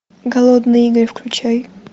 голодные игры включай